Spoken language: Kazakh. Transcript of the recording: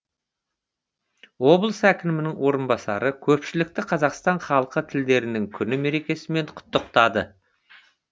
облыс әкімінің орынбасары көпшілікті қазақстан халқы тілдерінің күні мерекесімен құттықтады